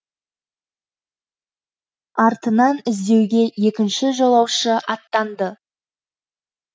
артынан іздеуге екінші жолаушы аттанды